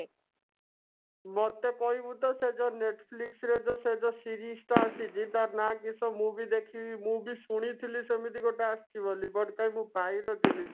ମତେ କହିବୁ ତ ସେ ଯୋଉ netflix ରେ ସେ ଯୋଉ series ଟା ଆସିଛି ଟାର ନା କିଶ ମୁଁ ବି ଦେଖିବି ମୁଁ ବି ଶୁଣିଥିଲି ସେମିତି ଗୋଟେ ଆସିଛି ବୋଲି but ମୁଁ କାଇଁ ପାଇ ନଥିଲି